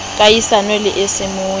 kahisano le a semoya a